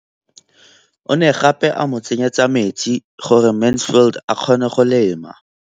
O ne gape a mo tsenyetsa metsi gore Mansfield a kgone go lema.